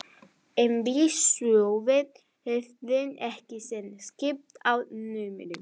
En við Sölvi höfðum ekki enn skipst á númerum.